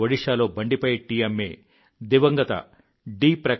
ఒడిషాలో బండిపై టీ అమ్మే దివంగత డి